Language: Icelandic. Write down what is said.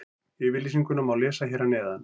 Yfirlýsinguna má lesa hér að neðan.